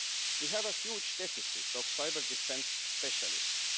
We have a huge deficit of cyber-defence specialists.